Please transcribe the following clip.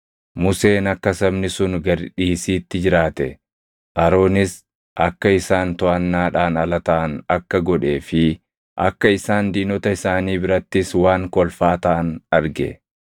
Museen akka sabni sun gad dhiisiitti jiraate, Aroonis akka isaan toʼannaadhaan ala taʼan akka godhee fi akka isaan diinota isaanii birattis waan kolfaa taʼan arge.